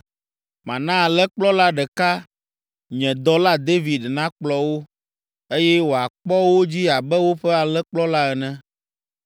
Mana alẽkplɔla ɖeka nye dɔla David nakplɔ wo, eye wòakpɔ wo dzi abe woƒe alẽkplɔla ene.